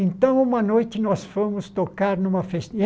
Então, uma noite, nós fomos tocar numa festa.